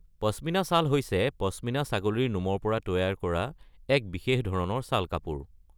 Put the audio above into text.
Pashmina shawl হৈছে পশ্মিনা ছাগলীৰ নোমৰ পৰা তৈয়াৰ কৰা এক বিশেষ ধৰণৰ শ্বাল-কাপোৰ।